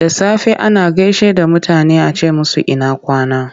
Da safe ana gaishe da mutane a ce musu ina kwana?